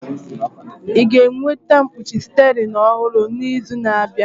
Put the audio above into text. Ị ga-enweta mkpuchi steering ọhụrụ n'izu na-abịa?